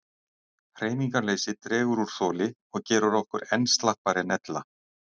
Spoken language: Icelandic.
Hreyfingarleysi dregur úr þoli og gerir okkur enn slappari en ella.